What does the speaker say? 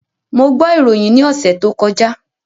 Mo gbọ́ ìròyìn ní ọ̀sẹ̀ tó kọjá